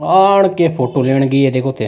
पहाड़ की फोटो लेने गई है देखो थे।